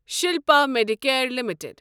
Shilpa Medicare limited